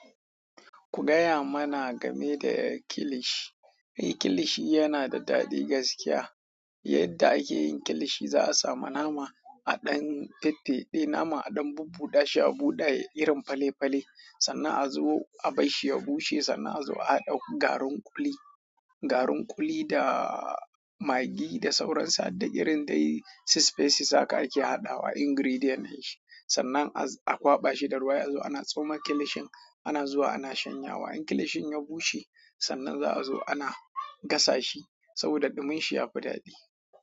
Ku gaya mana game da kilishi. Eh, kilishi yana da daɗi gaskiya. Yadda ake yin kilishi, za a sami nama a ɗan tette, nama a ɗan bubbuɗe, shi a buɗe irin fale-fale. Sannan a zo a bar shi ya bushe sannan a zo a haɗa garin ƙuli, garin ƙuli da Maggi da sauran su harda irin dai su spices haka ake haɗawa ingredient ɗin shi sannan a kwaɓa shi da ruwa sai azo ana tsoma kilishin ana zuwa ana shanya wa in kilishin ya bushe, sannan za a zo ana gasa shi saboda ɗumin shi yafi daɗi.